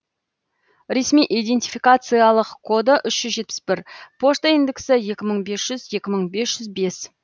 ресми идентификациялық коды үш жүз жетпіс бір пошта индексі екі мың бес жүз екі мың бес жүз бес